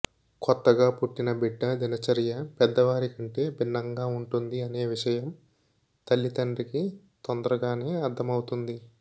కొత్తగా పుట్టిన బిడ్డ దినచర్య పెద్ద వారి కంటే బిన్నంగా ఉంటుంది అనే విషయం తల్లితండ్రికి తొందరగానే అర్థమవుతుంది